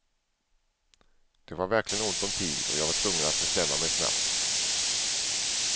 Det var verkligen ont om tid och jag var tvungen att bestämma mig snabbt.